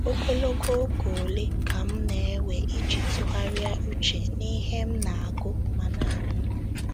Ogologo oge ole ka m na-ewe iji tụgharịa uche n'ihe m na-agụ ma na-anụ?